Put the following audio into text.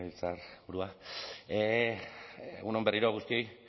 legebiltzarburua egun on berriro guztioi